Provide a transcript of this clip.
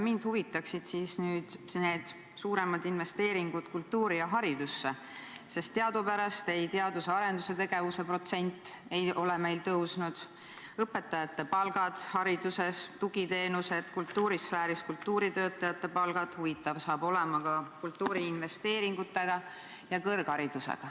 Mind huvitaksid need suuremad investeeringud kultuuri ja haridusse, sest teadupärast ei ole meil teadus- ja arendustegevuse protsent tõusnud, samuti õpetajate palgad hariduses, tugiteenused, kultuurisfääris kultuuritöötajate palgad, huvitav hakkab olema ka kultuuri investeeringutega ja kõrgharidusega.